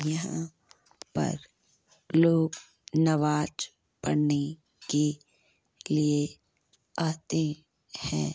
यहां पर लोग नमाज पढ़ने के लिए आते हैं।